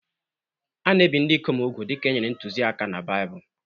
A na-ebi ndị ikom úgwù dị ka e nyere ntụziaka na Baịbụl.